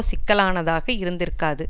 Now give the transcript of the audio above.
சிக்கலானதாக இருந்திருக்காது